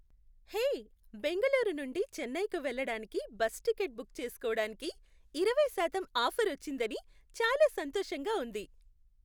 హే! బెంగుళూరు నుండి చెన్నైకి వెళ్ళడానికి బస్సు టిక్కెట్ బుక్ చేసుకోడానికి ఇరవై శాతం ఆఫర్ వచ్చిందని చాలా సంతోషంగా ఉంది.